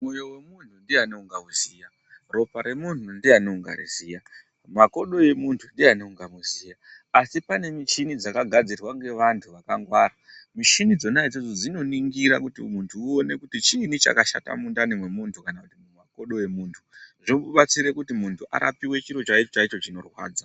Mwoyo wemunhu ndiani ungauziya, ropa remuntu ndiyani ungariziya, mumakodo emunhu ndiyani ungamuziya. Asi pane michini dzakagadzirwa ngevanhu vakangwara. Mishini dzona idzodzo dzinoningira kuti muntu uone kuti chiini chakashata nundani mwemuntu kana mumakodo emunhu, Zvobatsire kuti muntu arapiwe chiro chaicho chaicho chinorwadza.